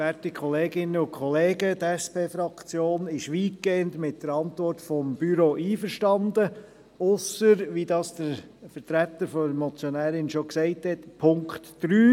Die SP-Fraktion ist weitgehend mit der Antwort des Büros einverstanden, ausser, wie es der Vertreter der Motionärin bereits gesagt hat, bezüglich Punkt 3.